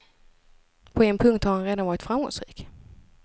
På en punkt har han redan varit framgångsrik.